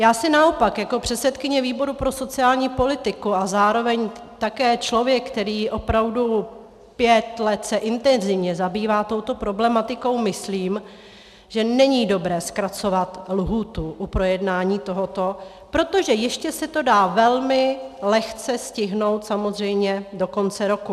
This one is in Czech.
Já si naopak jako předsedkyně výboru pro sociální politiku a zároveň také člověk, který opravdu pět let se intenzivně zabývá touto problematikou, myslím, že není dobré zkracovat lhůtu u projednání tohoto, protože ještě se to dá velmi lehce stihnout, samozřejmě, do konce roku.